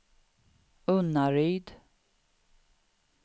Unnaryd